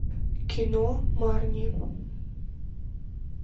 кино марни